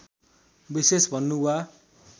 विशेष भनुँ वा